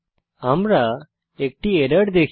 আমরা একটি এরর দেখি